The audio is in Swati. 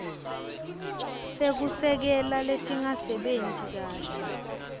tekusekela letingasebenti kahle